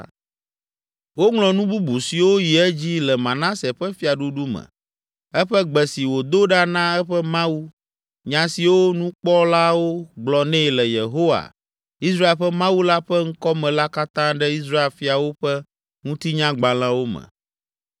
Woŋlɔ nu bubu siwo yi edzi le Manase ƒe fiaɖuɖu me, eƒe gbe si wòdo ɖa na eƒe Mawu, nya siwo nukpɔlawo gblɔ nɛ le Yehowa, Israel ƒe Mawu la ƒe ŋkɔ me la katã ɖe Israel fiawo ƒe ŋutinyagbalẽwo me.